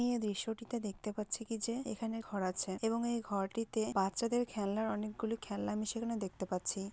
আমি এই দৃশ্যটিতে দেখতে পাচ্ছি কি যে এখানে ঘর আছে এবং এই ঘরটিতে বাচ্চাদের খেলনার অনেকগুলি খেলনা আমি সেখানে দেখতে পাচ্ছি।